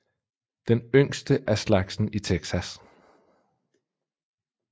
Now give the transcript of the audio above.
Den yngste af slagsen i Texas